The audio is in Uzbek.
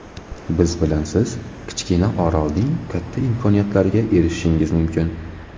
Biz bilan siz kichkina orolning katta imkoniyatlariga erishishingiz mumkin.